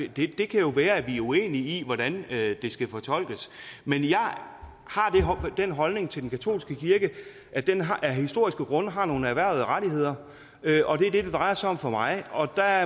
det kan jo være vi er uenige i hvordan det skal fortolkes men jeg har den holdning til den katolske kirke at den af historiske grunde har nogle erhvervede rettigheder og det er det det drejer sig om for mig og der